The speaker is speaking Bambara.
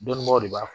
Dɔnnibaw de b'a fɔ